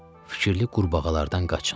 "Fikirli qurbağalardan qaçın."